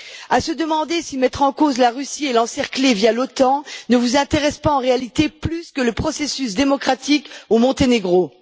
À se demander si mettre en cause la Russie et l'encercler, via l'Otan, ne vous intéresse pas, en réalité, plus que le processus démocratique au Monténégro.